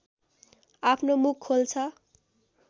आफ्नो मुख खोल्छ